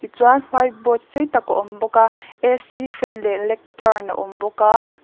chuan white board sei tak a awm bawk a a c fan leh lecturn a awm bawk a.